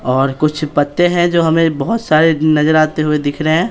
और कुछ पत्ते हैं जो हमें बहुत सारे नजर आते हुए दिख रहे हैं।